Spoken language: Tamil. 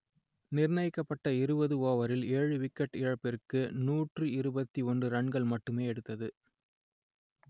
நிர்ணயிக்கப்பட்ட இருபது ஓவரில் ஏழு விக்கெட் இழப்பிற்கு நூற்று இருபத்தி ஒன்று ரன்கள் மட்டுமே எடுத்தது